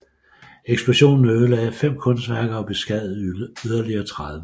Eksplosionen ødelagde fem kunstværker og beskadigede yderligere 30